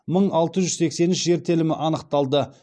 мың алты жүз сексен үш жер телімі анықталды